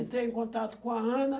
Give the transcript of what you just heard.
Entrei em contato com a Ana.